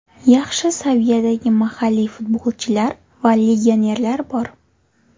Yaxshi saviyadagi mahalliy futbolchilar va legionerlar bor.